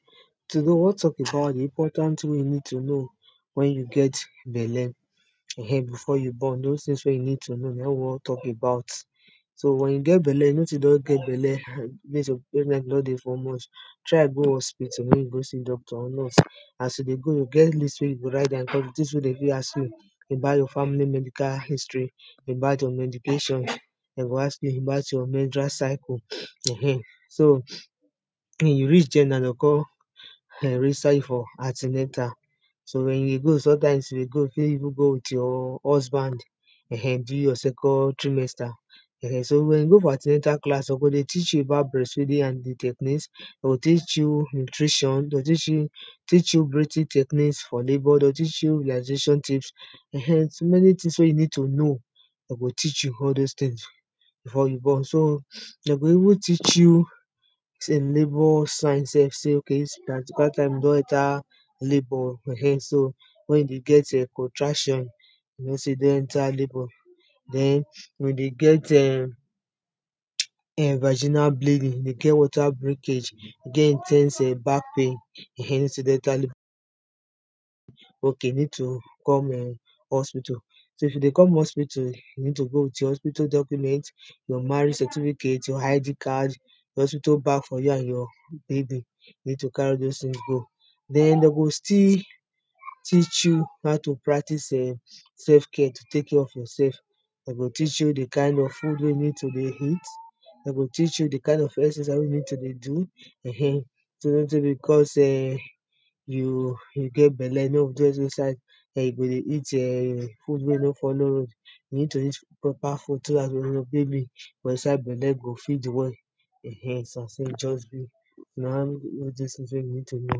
today we won talk about di important tin wey you need to know wen you get belle um before you born those tin wey you need to know na in we won talk about so wen you get belle you know sey you don get belle try go hospital mek you go see doctor or nurse as you dey go e get list wey you o write down because di tins wey de fit ask you about your family medical history, abou your medications, de go ask you about your mentural cycle so wen you reach there na, de go kon register you for anti-natal so wen you go sometimes you dey go, you fi even go wwith your husband um during your second trimester. so wen you go for anti-natal class we go dey teach you about breast feeding and di techniques de o teach you nutrition, teach you breathing techniques for labour, teach you relaxation tips, um so many tins we you nee to know den go teach you all those tins before you born so de go even teach you sey labour sign self sey da time e don enter labour um wen you dey get um contraction you know sey you don enter labour. den we dey get um viginal bleeding, dey get water brikage dey get in ten se back pain um mean sey you don enter ok you need to com hospital so if you dey come hospital, you need to come with your hospital document your marriage certificate, your ID card yor hospital bag for you and your baby you need to carry all those tins go den de go still teach you how to practics self care to tek care of yourself de go teah you di kind of food wey you need to dey eat, de go teach you di kind of exercise wey you need to do um no sey because um you get belle sey you no go do anytin inside um you go dey eat um food wey e no follow road. you need to dey eat proper food so dat your baby for inside belle o fit dey well um na so e just be you need to know.